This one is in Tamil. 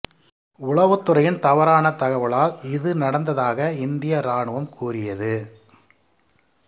உளவுத்துறையின் தவறான தகவலால் இது நடந்ததாக இந்திய ராணுவம் கூறியது